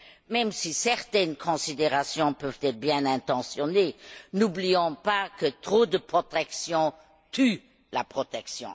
Même si certaines considérations peuvent être bien intentionnées, n'oublions pas que trop de protection tue la protection.